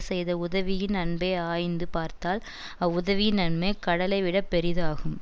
செய்த உதவியின் அன்பை ஆய்ந்து பார்த்தால் அவ்வுதவியின் நன்மை கடலைவிடப் பெரிதாகும்